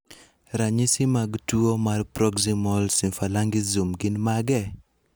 Ranyisi mag tuwo mar proximal symphalangism gin mage?